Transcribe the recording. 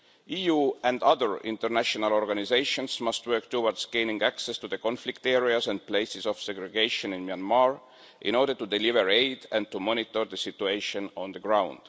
EU and other international organisations must work towards gaining access to the conflict areas and places of segregation in Myanmar, in order to deliver aid and to monitor the situation on the ground.